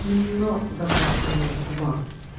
но в отношении к вам